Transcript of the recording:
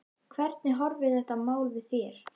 Hvernig horfir þetta mál við þér?